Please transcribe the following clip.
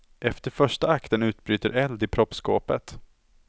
Efter första akten utbryter eld i proppskåpet.